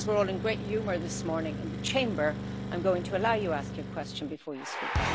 Because we are all in great humour this morning in the Chamber I am going to allow you to ask your question before you speak.